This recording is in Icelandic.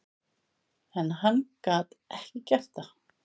En hann gat ekki gert það.